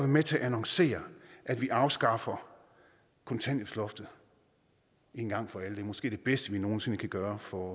med til at annoncere at vi afskaffer kontanthjælpsloftet en gang for alle det er måske det bedste vi nogen sinde kan gøre for